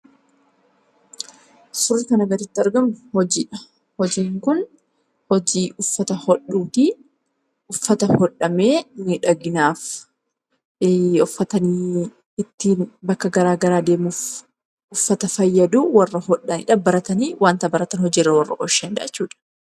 Suurri kanaa gaditti argamu hojiidha. Hojiin kun hojii uffata hodhuuti. Uffata hodhamee bareedinafi bakka garaa garaa deemuuf fayyadu warra hodhanidha. Wanta baratan hojiirra warra oolchanidha.